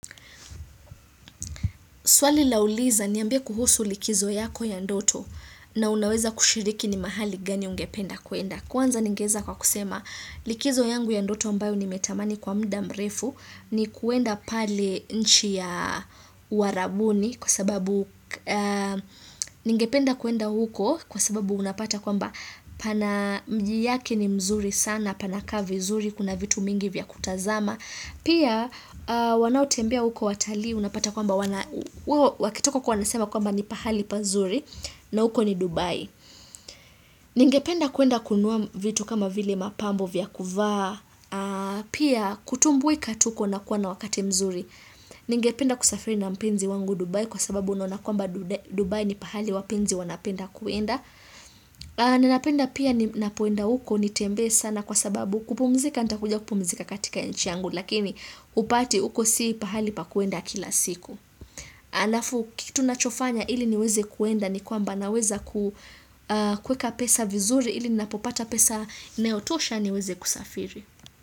Swali lauliza ni ambie kuhusu likizo yako ya ndoto na unaweza kushiriki ni mahali gani ungependa kuenda. Kwanza ningeweza kwa kusema likizo yangu ya ndoto ambayo nimetamani kwa muda mrefu ni kuenda pale nchi ya uarabuni kwa sababu ningependa kuenda huko kwa sababu unapata kwamba pana mji yake ni mzuri sana, panakaa vizuri, kuna vitu mingi vya kutazama. Pia wanao tembea uko watalii unapata kwamba wakitoka wanasema kwamba ni pahali pazuri na huko ni Dubai Ningependa kuenda kunua vitu kama vile mapambo vya kuvaa Pia kutumbuika tu kuenda kuwa na wakati mzuri Ningependa kusafiri na mpenzi wangu Dubai kwa sababu naona kwamba Dubai ni pahali wapenzi wanapenda kuenda Ninapenda pia ninapoenda huko nitembe sana kwa sababu kupumzika nitakuja kupumzika katika nchi yangu Lakini upati uko si pahali pa kuenda kila siku halafu kitu ninachofanya ili niweze kuenda ni kwamba naweza kuweka pesa vizuri ili ninapopata pesa inayotosha niweze kusafiri.